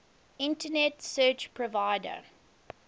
internet service provider